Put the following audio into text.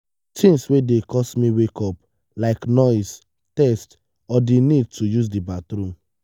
things wey dey cause me wake up like noise thirst or di need to use di bathroom.